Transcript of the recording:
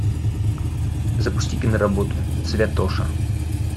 запусти киноработу святоша